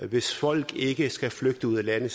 hvis folk ikke skal flygte ud af landet